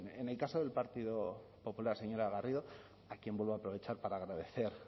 en el caso del partido popular señora garrido a quien vuelvo a aprovechar para agradecer